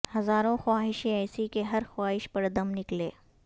ہزاروں خواہشیں ایسی کہ ہر خواہش پر دم نکلے